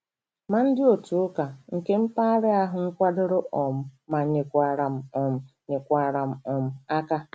Ma ndị otu ụka nke mpaghara ahụ nkwadoro um ma nyekwara m um nyekwara m um aka.